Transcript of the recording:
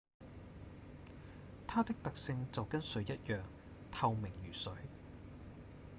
「它的特性就跟水一樣透明如水